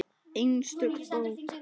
Einstök bók.